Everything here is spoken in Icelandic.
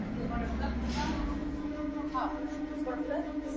Fríður og Þrúður.